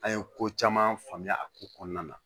An ye ko caman faamuya a ko kɔnɔna na